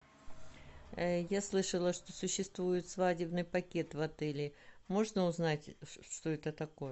я слышала что существует свадебный пакет в отеле можно узнать что это такое